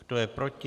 Kdo je proti?